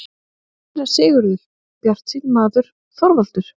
SÉRA SIGURÐUR: Bjartsýnn maður, Þorvaldur!